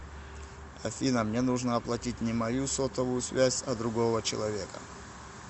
афина мне нужно оплатить не мою сотовую связь а другого человека